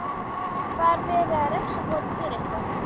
Var verið að refsa honum fyrir eitthvað?